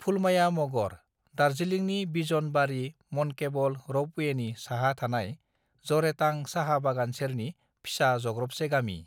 फुलमाया मगर दार्जिलिंनि बिजन बारी मनकेबल रपअवे नि साहा थानाय जरेटां साहा बागान सेरनि फिसा जग्रबसे गामि